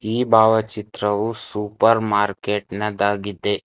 ಈ ಭಾವಚಿತ್ರವು super market ನದಾಗಿದೆ.